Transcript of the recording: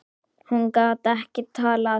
Hún gat ekki talað.